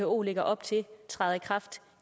who lægger op til træder i kraft